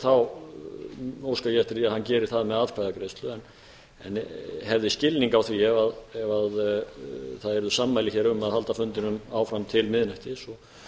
þá óska ég eftir að hann geri það með atkvæðagreiðslu en hefði skilning á því ef það yrðu sammæli hér um að halda fundinum áfram til miðnættis og